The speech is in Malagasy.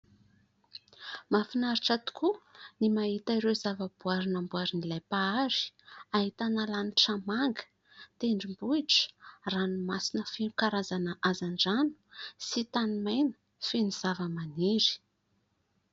Mahafinaritra tokoa ny mahita ireo zavaboahary namboarin'ilay mpahary : ahitana lanitra manga, tendrom-bohitra, ranomasina feno karazana hazandrano sy tanimaina feno zava-maniry.